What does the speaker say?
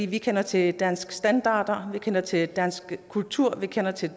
vi kender til danske standarder vi kender til dansk kultur vi kender til